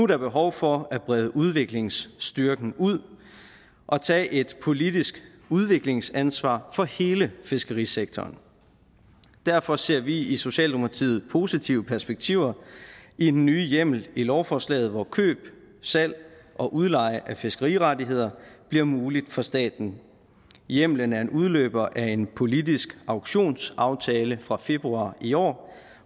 der behov for at brede udviklingsstyrken ud og tage et politisk udviklingsansvar for hele fiskerisektoren derfor ser vi i socialdemokratiet positive perspektiver i den nye hjemmel i lovforslaget hvor køb salg og udleje af fiskerirettigheder bliver muligt for staten hjemlen er en udløber af en politisk auktionsaftale fra februar i år